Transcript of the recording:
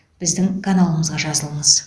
біздің каналымызға жазылыңыз